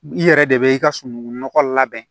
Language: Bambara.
I yɛrɛ de bɛ i ka sunungun nɔgɔ labɛn